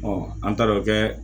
an taar'o kɛ